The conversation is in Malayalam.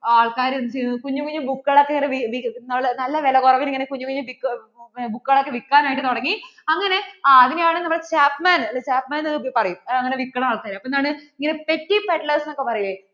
ആള്‍ക്കാര്‍ എന്ത് ചെയ്തു? കുഞ്ഞു കുഞ്ഞു book കളൊക്കെ ഇങ്ങനെ, നല്ല വില കുറവില്‍ ഇങ്ങനെ കുഞ്ഞു കുഞ്ഞു book കളൊക്കെ ഇങ്ങനെ വില്‍ക്കാനായിട്ട് തുടങ്ങി, ആ അങ്ങനെ അതിനെയാണ് നമ്മള്‍ chapman എന്നൊക്കെ പറയും, ഇങ്ങനെ pettypadlers എന്നൊക്കെ പറയും.